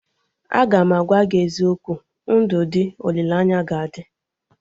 Agam agwa gị eziokwu, ndụ dị, olileanya ga adị